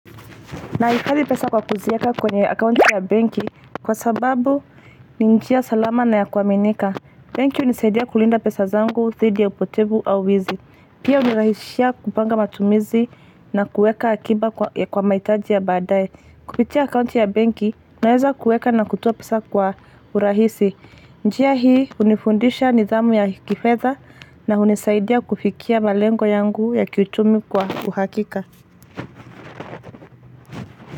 Nahifadhi pesa kwa kuzieka kwenye akaunti ya benki kwa sababu ni njia salama na ya kuaminika. Benki hunisaidia kulinda pesa zangu, dhidi ya upotevu au wizi. Pia hunirahisishia kupanga matumizi na kueka akiba ya kwa mahitaji ya baadae. Kupitia akaunti ya benki naweza kueka na kutoa pesa kwa urahisi. Njia hii hunifundisha nidhamu ya kifeda na hunisaidia kufikia malengo yangu ya kiuchumi kwa uhakika.